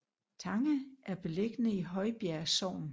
Tange er beliggende i Højbjerg Sogn